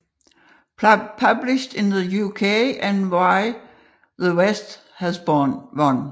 Published in the UK as Why the West has Won